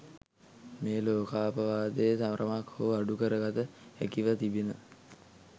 මේ ලෝකාපවාදය තරමක් හෝ අඩු කරගත හැකිව තිබින